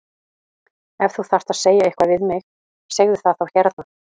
Ef þú þarft að segja eitthvað við mig segðu það þá hérna!